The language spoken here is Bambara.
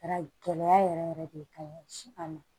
Kɛra gɛlɛya yɛrɛ yɛrɛ de kaɲi si kama